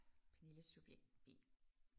Pernille subjekt B